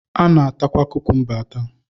A na-atakwa kukumba ata